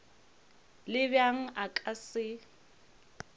le bjang a ka se